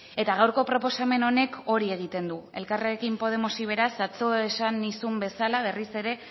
eta gaurko proposamen honek hori egiten du elkarrekin podemosi beraz atzo esan nizun bezala berriz ere